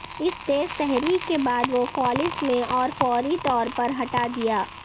اس تیز تحریک کے بعد وہ فالس میں اور فوری طور پر ہٹا دیا